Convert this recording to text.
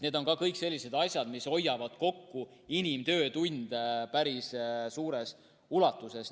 Need on kõik sellised asjad, mis hoiavad kokku inimtöötunde päris suures ulatuses.